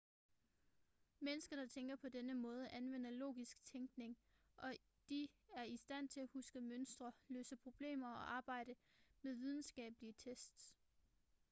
mennesker der tænker på denne måde anvender logisk tænkning og de er i stand til at huske mønstre løse problemer og arbejde med videnskabelige tests